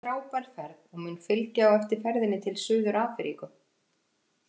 Þetta verður frábær ferð og mun fylgja á eftir ferðinni til Suður Afríku.